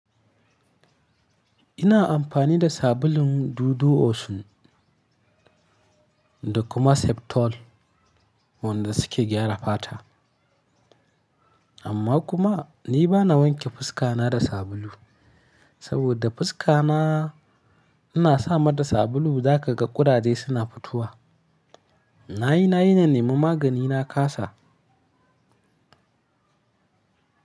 Ina amfani da sabulun dodo Osun da kuma Septol wanda suke gyara fata. Amma kuma ni bana wanke fuska na da sabulu saboda fuska na, ina sama da sabulu za ka ga ƙudaje suna fitowa. Na yi, na yi nan ne, mun magani na kasa.